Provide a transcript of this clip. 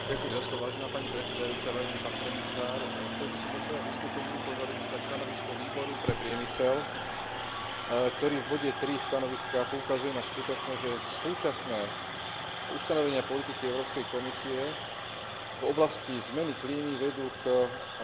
Chcel by som vo svojom vystúpení upozorniť na stanovisko výboru pre priemysel, ktorý v bode 3 stanoviska poukazuje na skutočnosť, že súčasné ustanovenia politiky Európskej komisie v oblasti zmeny klímy vedú k premiestňovaniu výroby z Európy,